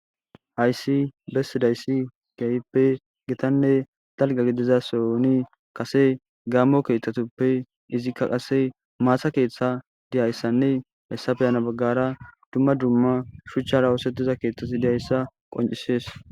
Hayssi besidayss kehi gitanne dalga gidida soohoni kase gaammo keththtatuppe izikka qase maata keththa diyayissanne hesafe hena bagara dumma dumma shuchchara osetida keththati dizayissa qoncises